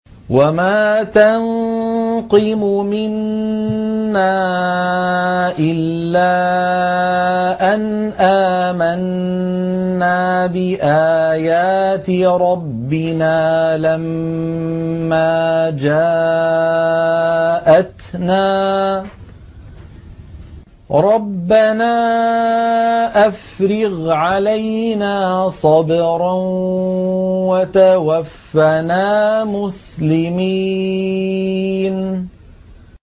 وَمَا تَنقِمُ مِنَّا إِلَّا أَنْ آمَنَّا بِآيَاتِ رَبِّنَا لَمَّا جَاءَتْنَا ۚ رَبَّنَا أَفْرِغْ عَلَيْنَا صَبْرًا وَتَوَفَّنَا مُسْلِمِينَ